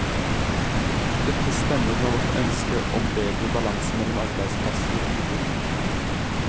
Dette stemmer med vårt ønske om bedre balanse mellom arbeidsplasser og boliger.